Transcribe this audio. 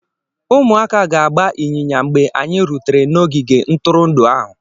Ụmụaka ga-agba ịnyịnya mgbe anyị rutere n'ogige ntụrụndụ ahụ.